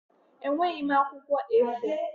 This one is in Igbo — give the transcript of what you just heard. Enweghị m akwụkwọ A4.